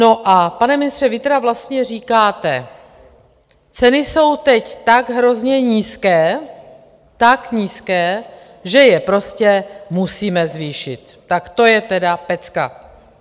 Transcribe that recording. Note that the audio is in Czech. No a, pane ministře, vy tedy vlastně říkáte: Ceny jsou teď tak hrozně nízké, tak nízké, že je prostě musíme zvýšit - tak to je tedy pecka.